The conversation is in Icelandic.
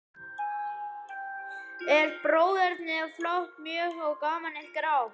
En bróðernið er flátt mjög, og gamanið er grátt.